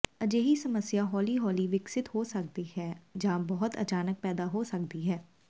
ਅਜਿਹੀ ਸਮੱਸਿਆ ਹੌਲੀ ਹੌਲੀ ਵਿਕਸਿਤ ਹੋ ਸਕਦੀ ਹੈ ਜਾਂ ਬਹੁਤ ਅਚਾਨਕ ਪੈਦਾ ਹੋ ਸਕਦੀ ਹੈ